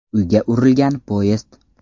Uyga urilgan poyezd.